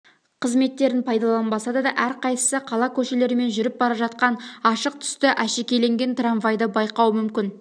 қызметтерін пайдаланбаса да әрқайсысы қала көшелерімен жүріп бара жатқан ашық түсті әшекейленген трамвайды байқауы мүмкін